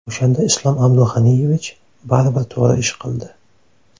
O‘shanda Islom Abdug‘aniyevich baribir to‘g‘ri ish qildi.